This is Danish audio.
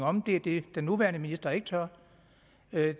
om det er det den nuværende minister ikke tør